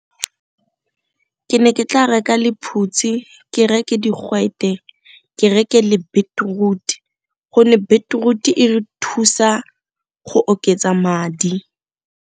Ke ne ke tla reka lephutsi, ke reke digwete, ke reke le beetroot gonne beetroot e re thusa go oketsa madi.